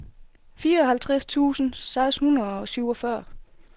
fireoghalvtreds tusind seks hundrede og syvogfyrre